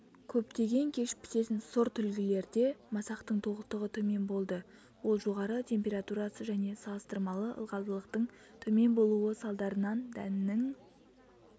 көптеген кеш пісетін сортүлгілерде масақтың толықтығы төмен болды ол жоғары температурасы және салыстырмалы ылғалдылықтың төмен болуы салдарынан дәннің